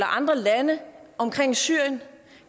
andre lande omkring syrien